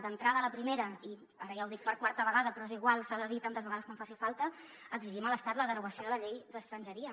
d’entrada la primera i ara ja ho dic per quarta vegada però és igual s’ha de dir tantes vegades com faci falta exigim a l’estat la derogació de la llei d’estrangeria